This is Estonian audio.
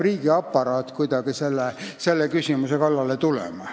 Riigiaparaat peab kuidagi selle küsimuse kallale tulema.